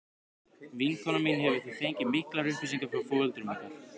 Vinkona mín hefur því fengið miklar upplýsingar frá foreldrum ykkar.